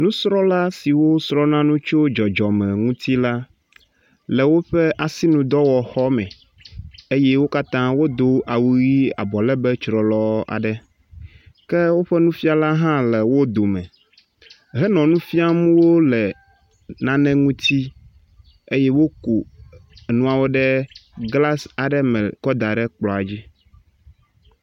Nusrɔ̃la siwo srɔ̃na nu tso dzɔdzɔme ŋuti la le woƒe asinudɔwɔxɔ me eye wo katã wodo awu ʋe, abɔ legbe tsrɔlɔ aɖe. ke woƒe nufiala hã le wo dome, hene nu fiam wo le nane ŋuti eye woku nuawo ɖe glas me kɔ da ɖe kplɔa dzi.